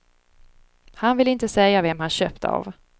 Han ville inte säga vem han köpt det av.